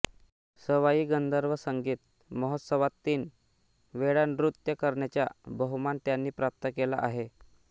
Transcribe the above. सवाई गंधर्व संगीत महोत्सवात तीन वेळा नृत्य करण्याचा बहुमान त्यांनी प्राप्त केला आहे